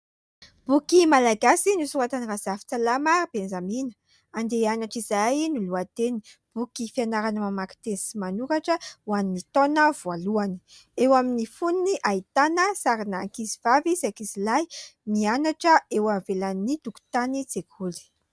Boky malagasy nosoratan'i Razafintsalama Benjamina. "Andeha hianatra izahay" no lohateniny. Boky fianarana mamaky teny sy manoratra ho an'ny taona voalohany. Eo amin'ny fonony ahitana sarina ankizy vavy sy ankizy lahy mianatra eo ivelan'ny tokotanin-tsekoly.